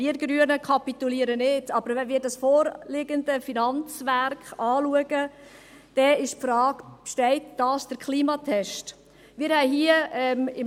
Wir Grünen kapitulieren nicht, wenn wir aber das vorliegende Finanzwerk anschauen, stellt sich die Frage, ob dieses den Klimatest besteht.